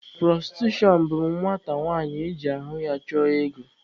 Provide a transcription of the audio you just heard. Pụrọstitushọn bụ nwata nwanyị iji ahụ ya chụọ ego.